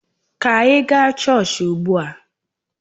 Ka anyị gaa chọọchị ugbu a!